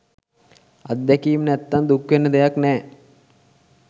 අත්දැකීම් නැත්තං දුක්වෙන්න දෙයක් නෑ.